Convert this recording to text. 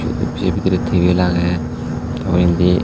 se bidire tebil agey te undi.